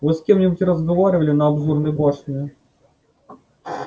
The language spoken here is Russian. вы с кем-нибудь разговаривали на обзорной башне